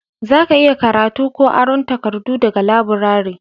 za ka iya karatu ko aron takardu daga laburare